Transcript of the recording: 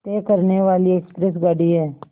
तय करने वाली एक्सप्रेस गाड़ी है